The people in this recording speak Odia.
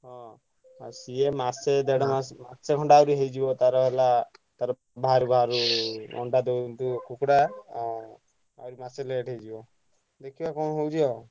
ହଁ ଆଉ ସିଏ ମାସେ ଦେଢ ମାସେ ମାସେ ହେଇଯିବ ତାର ହେଲା ତାର ବାହାରୁ ବାହାରୁ ଅଣ୍ଡା ଦଉ ଦଉ କୁକୁଡ଼ା ଉଁ ଆହୁରି ମାସେ late ହେଇଯିବ ଦେଖିଆ କଣ ହଉଛି ଆଉ।